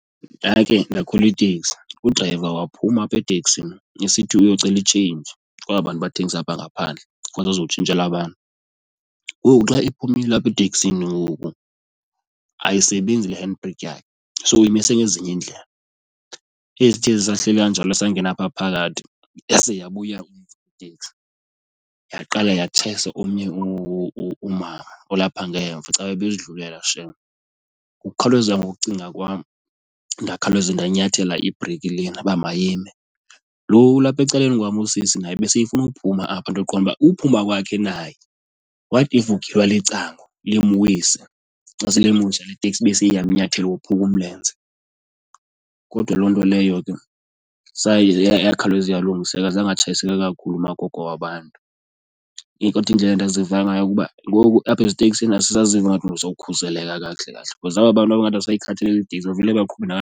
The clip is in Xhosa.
Ndake ndakhwela iteksi udrayiva waphuma apha eteksini esithi uyocela i-change kwaba bantu bathengisa apha ngaphandle ukuze azotshintshela abantu. Ngoku xa ephumile apha eteksini ngoku ayisebenzi le handbrake yakhe, so imise ezinye iindlela. Eyi, sithe sisahleli kanjalo esangena phaa phakathi yase yabuya itekisi yaqala yatshayisa omnye umama olapha ngemva caba ebezidlulela shem. Ngokukhawuleza ngokucinga kwam ndakhawuleza ndanyathela ibreyikhi lena uba mayime. Loo ulapha ecaleni kwam usisi naye beseyifuna uphuma apha, ndaqonda uba uphuma kwakhe naye what if ugilwa licango limwise, xa selimwisile le teksi bese iyamnyathela ophuke umlenze. Kodwa loo nto leyo ke saye yakhawuleza yalungiseka azange atshayiseke kakhulu umagogo wabantu. Eyi, kodwa indlela endaziva ngayo kuba ngoku apha eziteksini asisaziva ingathi uzokhuseleka kakuhle kahle because aba bantu aba ingathi abasayikhathaleli iteksi bavele baqhube .